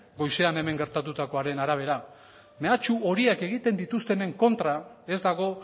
goizean hemen gertatukoaren arabera mehatxu horiek egiten dituztenen kontra ez dago